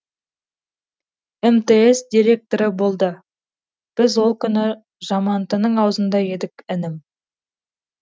мтс директоры болды біз ол күні жамантының аузында едік інім